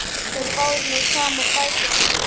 Þeir báru nú saman bækur sínar.